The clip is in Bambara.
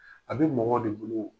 A bɛ mɔgɔw de bolo o